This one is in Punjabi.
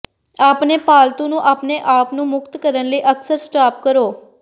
ਆਪਣੇ ਪਾਲਤੂ ਨੂੰ ਆਪਣੇ ਆਪ ਨੂੰ ਮੁਕਤ ਕਰਨ ਲਈ ਅਕਸਰ ਸਟਾਪ ਕਰੋ